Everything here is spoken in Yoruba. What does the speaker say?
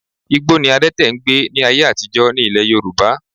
Igbó ni adẹ́tè n gbé ní ayé àtijọ́ ní Ilẹ̀ Yorùbá